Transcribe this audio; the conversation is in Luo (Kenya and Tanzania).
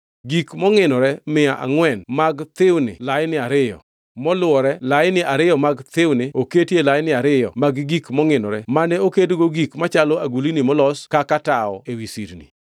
gik mongʼinore mia angʼwen mag thiwni laini ariyo, moluwore (laini ariyo mag thiwni oketi e laini ariyo mag gik mongʼinore mane okedgo gik machalo agulni molos kaka tawo ewi sirni);